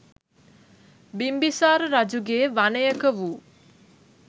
බිම්බිසාර රජුගේ වනයක වූ